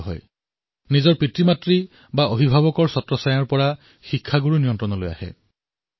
শিক্ষাৰ্থীসকল আভিভাৱকৰ ছত্ৰছায়াৰ পৰা অধ্যাপকৰ ছত্ৰছায়ালৈ আহি যায়